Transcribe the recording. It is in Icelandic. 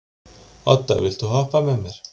Odda, viltu hoppa með mér?